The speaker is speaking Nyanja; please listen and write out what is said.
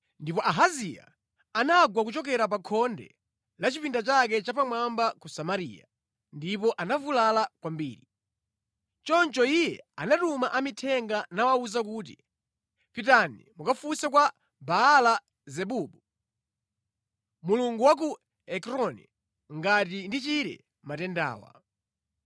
Ndipo Ahaziya anagwa kuchokera pa khonde la chipinda chake chammwamba ku Samariya, ndipo anavulala kwambiri. Choncho iye anatuma amithenga nawawuza kuti, “Pitani mukafunse kwa Baala-zebubu, mulungu wa ku Ekroni, ngati ndichire matendawa.”